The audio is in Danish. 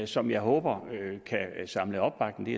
som jeg håber kan samle opbakning det